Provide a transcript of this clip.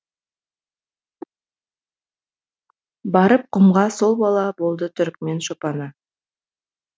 барып құмға сол бала болды түрікмен шопаны